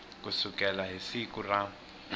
ku sukela hi siku ra